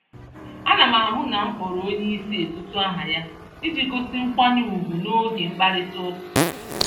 Ánám ahụ na m kpọrọ onyeisi etutu-aha ya, iji gosi nkwanye ùgwù n'oge mkparita ụka